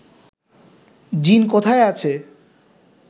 জিন কোথায় আছে